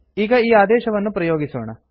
ಈಗ ಈ ಆದೇಶವನ್ನು ಪ್ರಯೋಗಿಸೋಣ